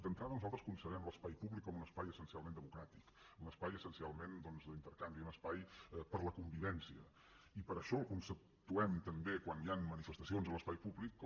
d’entrada nosaltres concebem l’espai públic com un espai essencialment democràtic un espai essencialment doncs d’intercanvi un espai per a la convivència i per això el conceptuem també quan hi ha manifestacions a l’espai públic com